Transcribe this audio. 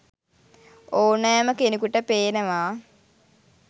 ඕනෑම කෙනකුට පේනවා.